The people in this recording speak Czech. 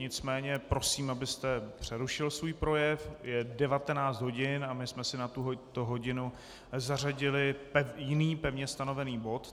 Nicméně prosím, abyste přerušil svůj projev, je 19 hodin a my jsme si na tuto hodinu zařadili jiný, pevně stanovený bod.